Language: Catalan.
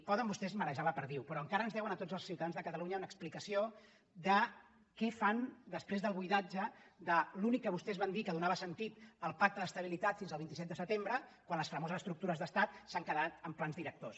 poden vostès marejar la perdiu però encara ens deuen a tots els ciutadans de catalunya una explicació de què fan després del buidatge de l’únic que vostès van dir que donava sentit al pacte d’estabilitat fins al vint set de setembre quan les famoses estructures d’estat s’han quedat en plans directors